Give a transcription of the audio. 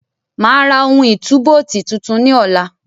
Máa ra ohun ìtúbóòtì tuntun ní ọ̀la.